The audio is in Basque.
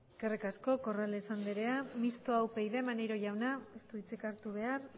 eskerrik asko corrales andrea mistoa upyd maneiro jauna ez du hitzik hartu behar